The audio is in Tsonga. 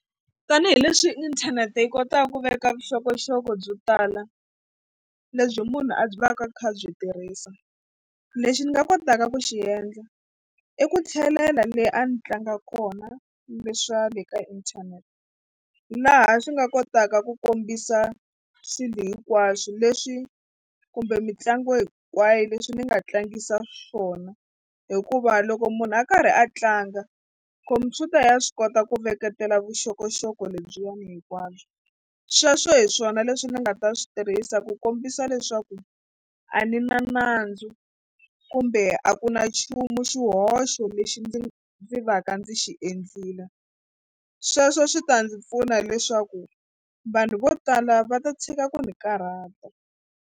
Tanihileswi inthanete yi kotaka ku veka vuxokoxoko byo tala lebyi munhu a byi vaka byi kha byi tirhisa. Lexi ni nga kotaka ku xi endla i ku tlhelela le a ni tlanga kona le swa le ka inthanete laha swi nga kotaka ku kombisa swilo hinkwaswo leswi kumbe mitlangu hinkwayo leswi ni nga tlangisa swona hikuva loko munhu a karhi a tlanga khompyuta ya swi kota ku veketela vuxokoxoko lebyiwani hinkwabyo sweswo hi swona leswi ndzi nga ta swi tirhisa ku kombisa leswaku a ni na nandzu kumbe a ku na nchumu xihoxo lexi ndzi ndzi va ka ndzi xi endlile sweswo swi ta ndzi pfuna leswaku vanhu vo tala va ta tshika ku ni karhata.